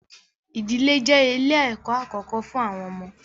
Ìdílé je ilẹ̀ ẹ̀kọ́ àkókó fún àwọn ọmọ.